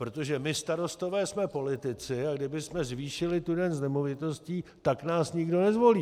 Protože my starostové jsme politici, a kdybychom zvýšili tu daň z nemovitostí, tak nás nikdo nezvolí.